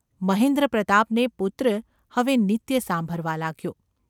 મહેન્દ્રપ્રતાપને પુત્ર હવે નિત્ય સાંભરવા લાગ્યો.